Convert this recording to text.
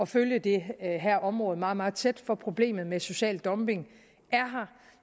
følge det her område meget meget tæt for problemet med social dumping er her